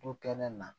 Du kɛnɛ na